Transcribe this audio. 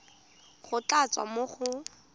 go tla tswa mo go